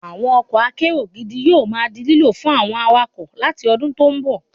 Àwọn ọkọ̀ akérò gidi yóò ma di lílò fún àwọn awakọ̀ láti ọdún tó ń bọ̀